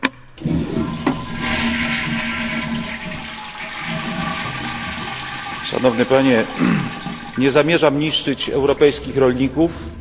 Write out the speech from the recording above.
Nie zamierzam niszczyć europejskich rolników, ale też chcę stwierdzić, że to nie Unia Europejska wprowadziła embargo, tylko Rosja.